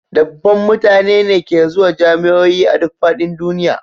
Dubban mutane ne ke zuwa jami'o'i a duk fadin duniya